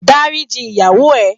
Dáríji ìyàwó ẹ